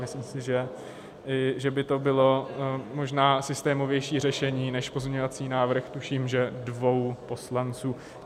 Myslím si, že by to bylo možná systémovější řešení než pozměňovací návrh, tuším že dvou poslanců.